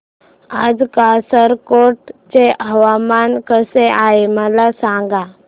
आज कासारगोड चे हवामान कसे आहे मला सांगा